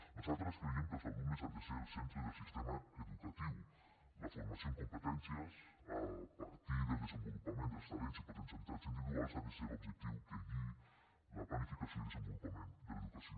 nosaltres creiem que els alumes han de ser el centre del sistema educatiu la formació en competències a partir del desenvolupament dels talents i potencialitats individuals ha de ser l’objectiu que guiï la planificació i desenvolupament de l’educació